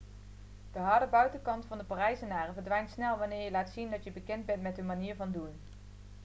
de harde buitenkant van de parijzenaren verdwijnt snel wanneer je laat zien dat je bekend bent met hun manier van doen